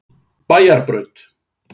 Bæjarbraut